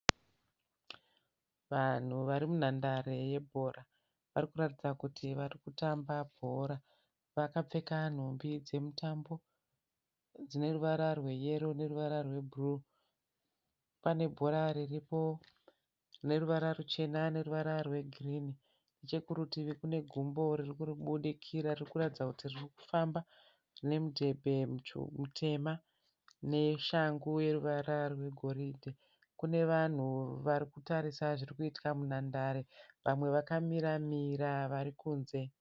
Vanhu vari munhandare yebhora. Varikuratidza kuti varikutamba bhora. Vakapfeka nhumbi dzemutambo dzineruvara rweyero neruvara rwebhuruwu. Pane bhora riripo rine ruvara ruchena neruvara rwegirinhi. Nechekurutivi kune gumbo ririkubudikira ririkuratidza kuti ririkufamba nemudhebhe mutema neshangu neruvara rwegoridhe. Kune vanhu varikutarira zvirikuitika munhandare, vamwe vakamiramira varikunze.